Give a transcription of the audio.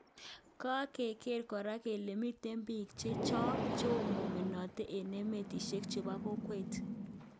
kangeger kora kele miten pik chechoo cheomomenaten en emetishek chepo kokwet.